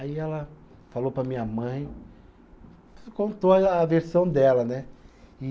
Aí ela falou para a minha mãe, contou a a versão dela, né? E